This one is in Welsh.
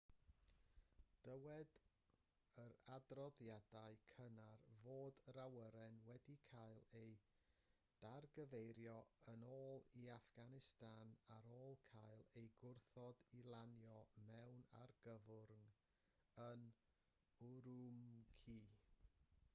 dywed yr adroddiadau cynnar fod yr awyren wedi cael ei dargyfeirio yn ôl i affganistan ar ôl cael ei gwrthod i lanio mewn argyfwng yn ürümqi